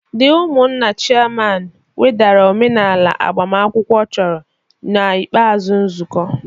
The umunna chairman wedara omenala agbamakwụkwọ chọrọ na ikpeazụ nzukọ